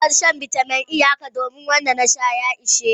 Zan bar shan bitamin E haka, domin wanda na sha sun ishe ni.